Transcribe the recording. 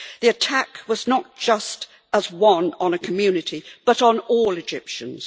The attack was not just on a community but on all Egyptians.